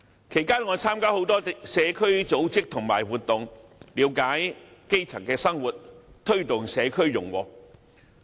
其間，我曾參加很多社區組織和活動，了解基層生活，推動社區融和。